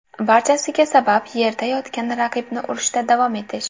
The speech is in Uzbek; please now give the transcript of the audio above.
Barchasiga sabab yerda yotgan raqibni urishda davom etish.